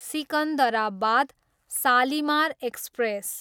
Secunderabad, Shalimar express